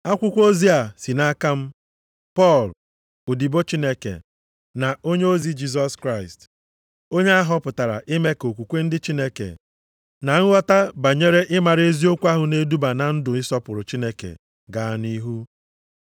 Akwụkwọ ozi a si nʼaka m, Pọl, odibo Chineke, na onyeozi Jisọs Kraịst, onye ahọpụtara ime ka okwukwe ndị Chineke, na nghọta banyere ịmara eziokwu ahụ na-eduba na ndụ ịsọpụrụ Chineke gaa nʼihu,